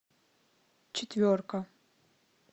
четверка